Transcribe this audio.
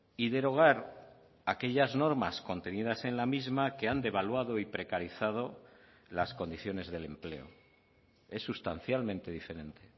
y derogar aquellas normas contenidas en la misma que han devaluado y precarizado las condiciones del empleo es sustancialmente diferente